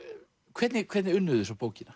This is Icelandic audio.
hvernig hvernig unnuð þið svo bókina